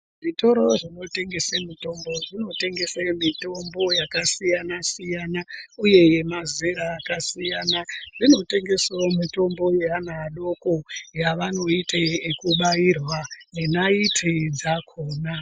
Zvitoro zvinotengese mitombo zvinotengese mitombo yakasiyana siyana uye yemazera akasiyana zvinotengese mitombo yeana adoko yevanoite ekubairwa nenaiti dzakhona.